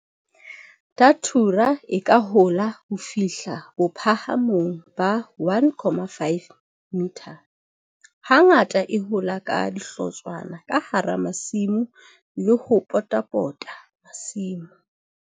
Datura e ka hola ho fihla bophahamong ba 1, 5 m. Hangata e hola ka dihlotshwana ka hara masimo le ho potapota masimo.